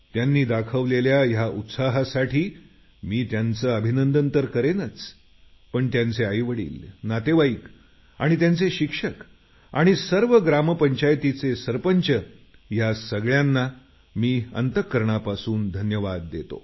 त्यांनी दाखवलेल्या या उत्साहासाठी मी त्यांचं अभिनंदन तर करेनच पण त्यांचे आईवडील नातेवाईक आणि त्यांचे शिक्षक आणि सर्व ग्रामपंचायतींचे सरपंच या सगळ्यांना मी अंतकरणापासून धन्यवाद देतो